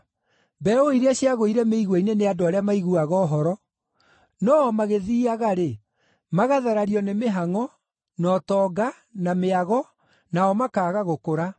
Mbeũ iria ciagũire mĩigua-inĩ nĩ andũ arĩa maiguaga ũhoro, no o magĩthiiaga-rĩ, magatharario nĩ mĩhangʼo, na ũtonga, na mĩago, nao makaaga gũkũra.